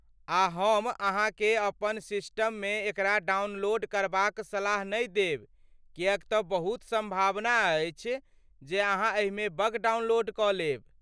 आ हम अहाँकेँ अपन सिस्टममे एकरा डाउनलोड करबाक सलाह नहि देब किएक तँ बहुत सम्भावना अछि जे अहाँ एहिमे बग डाउनलोड कऽ लेब।